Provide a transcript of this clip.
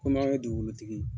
Komi anw ye dugukolotigi ye.